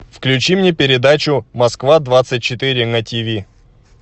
включи мне передачу москва двадцать четыре на тиви